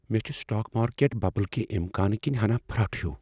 مےٚ چھ سٹاک مارکیٹک ببل کہِ امکان كِنہِ ہنا فرتھ ہِیوٗ ۔